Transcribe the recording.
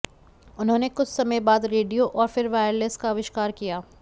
उन्होंने कुछ समय बाद रेडियो और फिर वायरलेस का आविष्कार किया